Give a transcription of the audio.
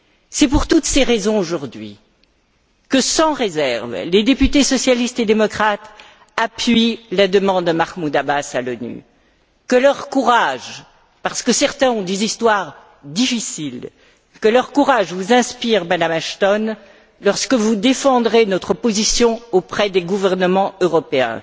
C'est pour toutes ces raisons que, sans réserve, les députés socialistes et démocrates appuient aujourd'hui la demande de Mahmoud Abbas à l'ONU. Que leur courage parce que certains ont des histoires difficiles que leur courage vous inspire, Madame Ashton, lorsque vous défendrez notre position auprès des gouvernements européens.